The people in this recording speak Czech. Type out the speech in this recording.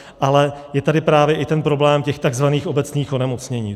Ale je tady právě i ten problém těch takzvaných obecných onemocnění.